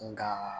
Nga